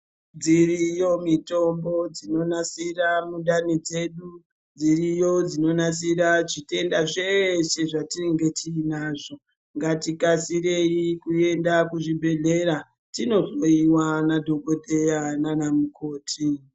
Dziriyo mutombo dzinonasira mundani dzedu dziriyo dzinogadzira zvitenda zveshe zvatinenge tiinazvo. Ngatikasirei kuenda kuzvibhehleya tinohloyiwa nadhokodheya nana mukoti